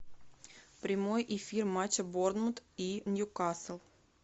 прямой эфир матча борнмут и ньюкасл